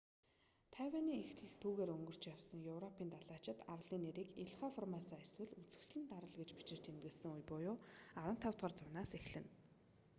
тайванийн эхлэл түүгээр өнгөрч явсан европын далайчид арлын нэрийг илха формосо эсвэл үзэсгэлэнт арал гэж бичиж тэмдэглэсэн үе буюу 15-р зуунаас эхэлнэ